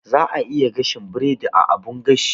Za'a iya gasa biredi a abun gashi.